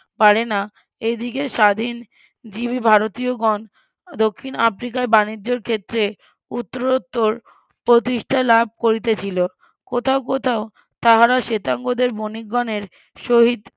পারেনা এইদিকে স্বাধীনজীবী ভারতীয়গণ দক্ষিণ আফ্রিকার বাণিজ্যর ক্ষেত্রে উত্তরোত্তর প্রতিষ্ঠা লাভ করিতেছিল কোথাও কোথাও তাহারা শ্বেতাঙ্গদের বনিকগণের সহিত